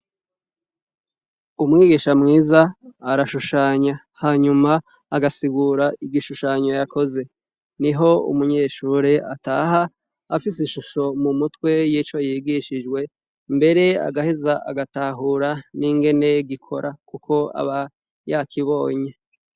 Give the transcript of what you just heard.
Umwigisha mwiza arashushanya ,hanyuma agasigura igishushanyo yakoze, niho umunyeshure ataha afise ishusho m'umutwe y'ico yigishijwe, mbere araheza agatahura n'ingene gikora kuko yabokibonye.